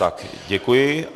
Tak, děkuji.